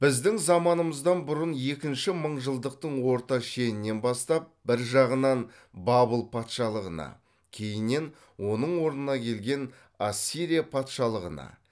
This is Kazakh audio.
біздің заманымыздан бұрын екінші мыңжылдықтың орта шенінен бастап бір жағынан бабыл патшалығына кейіннен оның орнына келген ассирия патшалығына